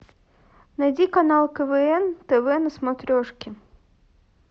найди канал квн тв на смотрешке